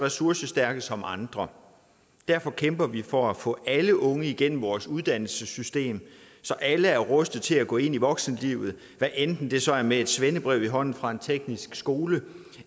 ressourcestærke som andre og derfor kæmper vi for at få alle unge igennem vores uddannelsessystem så alle er rustet til at gå ind i voksenlivet hvad enten det så er med et svendebrev i hånden fra en teknisk skole